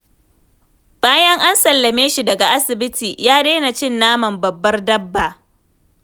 Bayan an sallame shi daga asibiti, ya daina cin naman babbar dabba.